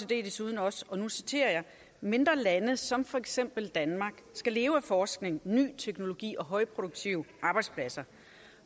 desuden også og nu citerer jeg mindre lande som for eksempel danmark skal leve af forskning ny teknologi og højproduktive arbejdspladser